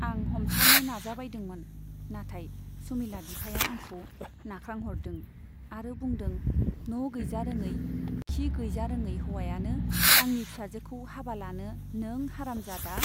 आं हमथानो नाजाबायदोंमोन , नाथाय सुमिला बिफाया आंखौ नाख्रांहरदों आरो बुंदों न' गैजारोङै , खि गैजारोङै हौवायानो आंनि फिसाजोखौ हाबा लानो नों हारामजादा ?